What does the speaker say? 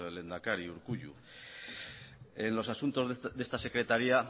lehendakari urkullu